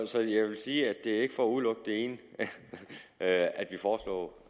så jeg vil sige at det ikke er for at udelukke det ene at at vi foreslår